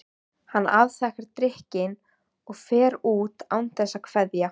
Hann afþakkar drykkinn og fer út án þess að kveðja.